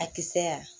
A kisɛ yan